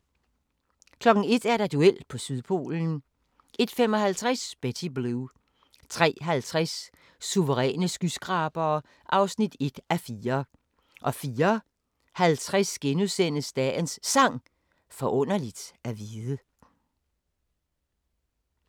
01:00: Duel på Sydpolen 01:55: Betty Blue 03:50: Suveræne skyskrabere (1:4) 04:50: Dagens Sang: Forunderligt at vide *